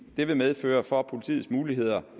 dette medfører for politiets muligheder